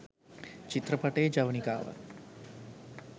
චිත්‍රපටයේ ජවනිකාවක්